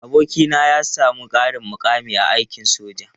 Abokina ya sami ƙarin mukami a aikin soja.